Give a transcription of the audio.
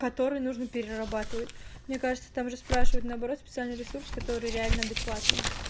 который нужно перерабатывать мне кажется там расспрашивать наоборот специальный ресурс которые реально адекватный